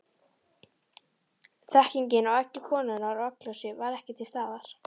Þekkingin á eggi konunnar og egglosi var ekki til staðar.